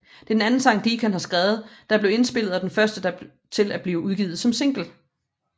Det er den anden sang Deacon har skrevet der blev indspillet og den første til at blive udgivet som single